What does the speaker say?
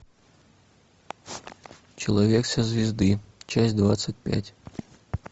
человек со звезды часть двадцать пять